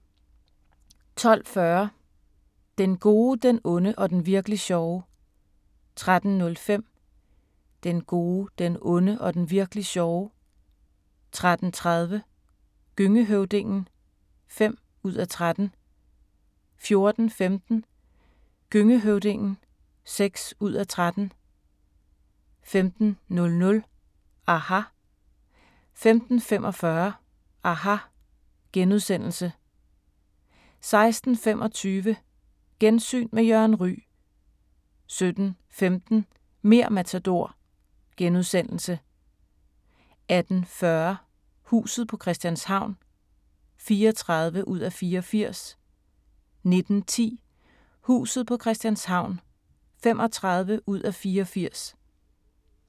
12:40: Den gode, den onde og den virk'li sjove. 13:05: Den gode, den onde og den virk'li sjove. 13:30: Gøngehøvdingen (5:13) 14:15: Gøngehøvdingen (6:13) 15:00: aHA! 15:45: aHA! * 16:25: Gensyn med Jørgen Ryg 17:15: Mer' Matador * 18:40: Huset på Christianshavn (34:84) 19:10: Huset på Christianshavn (35:84)